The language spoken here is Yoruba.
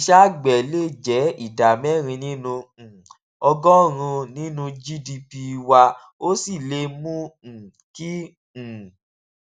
iṣẹ àgbè lè jé ìdá mérin nínú um ọgọrùnún nínú gdp wa ó sì lè mú um kí um